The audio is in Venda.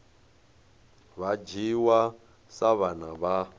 vha dzhiwa sa vhana vha